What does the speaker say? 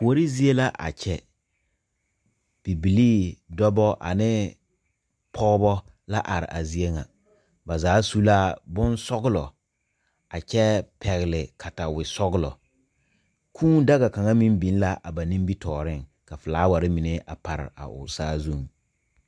Kuori zie la a kyɛ, bibilii, dɔba ane pɔgeba la are a zie ŋa ba zaa su la bonsɔglɔ, a kyɛ pɛgele katawie sɔglɔ kʋʋ daga kaŋa meŋ biŋ la a ba nimitɔreŋ, ka filaaware mine pare a o saazu.